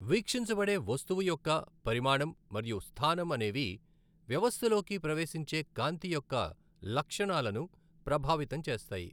వీక్షించబడే వస్తువు యొక్క పరిమాణం మరియు స్థానం అనేవి వ్యవస్థలోకి ప్రవేశించే కాంతి యొక్క లక్షణాలను ప్రభావితం చేస్తాయి.